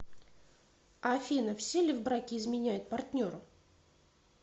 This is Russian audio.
афина все ли в браке изменяют партнеру